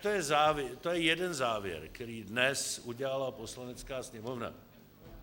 To je jeden závěr, který dnes udělala Poslanecká sněmovna.